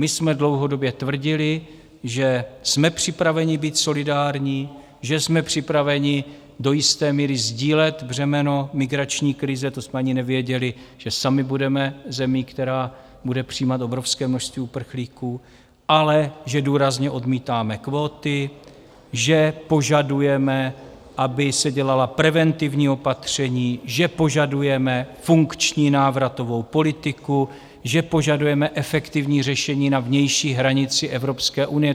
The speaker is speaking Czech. My jsme dlouhodobě tvrdili, že jsme připraveni být solidární, že jsme připraveni do jisté míry sdílet břemeno migrační krize - to jsme ani nevěděli, že sami budeme zemí, která bude přijímat obrovské množství uprchlíků - ale že důrazně odmítáme kvóty, že požadujeme, aby se dělala preventivní opatření, že požadujeme funkční návratovou politiku, že požadujeme efektivní řešení na vnější hranici Evropské unie.